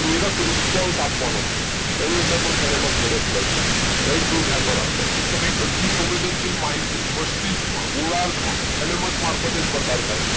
પ્રેરક response આપવાનો છે એની અંદર પણ thalamus મદદ કરશે right તો ધ્યાનમાં રાખો કે ભાઈ બધી સંવેદનશીલ માહિતીઓ મસ્તિષ્કમાં ગોળાર્ધમાં thalamus મારફતે જ પસાર થાય છે